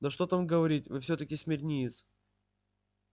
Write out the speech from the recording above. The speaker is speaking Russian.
да что там говорить вы всё-таки смирниец